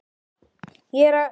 Nú